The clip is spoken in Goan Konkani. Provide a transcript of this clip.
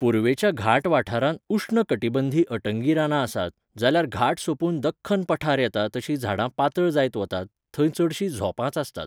पूर्वेच्या घाट वाठारांत उश्णकटिबंधी अटंगीं रानां आसात, जाल्यार घाट सोंपून दख्खन पठार येता तशीं झाडां पातळ जायत वतात, थंय चडशीं झोपांच आसतात.